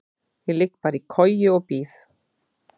Ég ligg bara í koju og bíð.